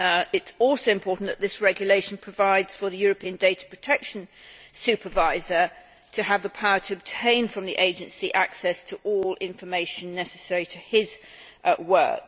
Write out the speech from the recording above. It is also important that this regulation provides for the European Data Protection Supervisor to have the power to obtain from the agency access to all information necessary to his work.